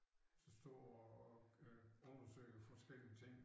Som står og øh undersøger forskellige ting